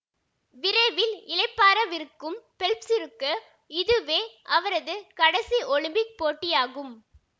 விரைவில் இளைப்பாறவிருக்கும் பெல்ப்சிற்கு இதுவே அவரது கடைசி ஒலிம்பிக் போட்டியாகும்